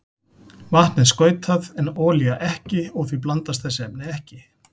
Vatn er skautað en olía ekki og því blandast þessi efni ekki.